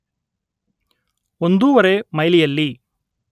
ಒಂದೂವರೆ ಮೈಲಿಯಲ್ಲಿ